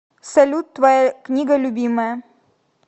салют твоя книга любимая